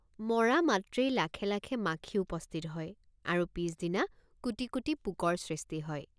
মৰা মাত্ৰেই লাখে লাখে মাথি উপস্থিত হয় আৰু পিচদিন৷ কোটি কোটি পোকৰ সৃষ্টি হয়।